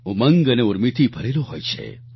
ઉમંગ અને ઉર્મિથી ભરેલો હોય છે